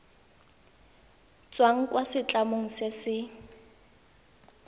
tswang kwa setlamong se se